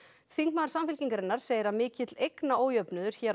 þingmaður Samfylkingarinnar segir að mikill eignaójöfnuður hér á